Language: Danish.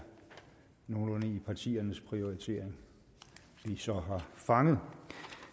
partiernes prioriteringer vi så har fanget